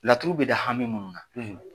Laturu bɛ da hami minnu na